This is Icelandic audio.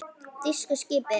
Þýsku skipin.